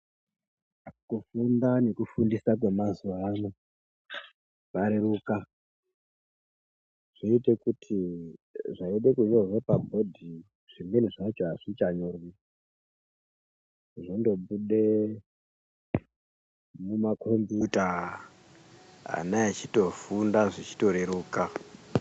Kufunda nekufundisa kwemazuwa ano zvareruka ,zvoite kuti zvaide kunyorwa paboard zvimweni zvacho hazvichanyorwi, zvondobude mumaKombuta ana eitofunda zveitoreruka.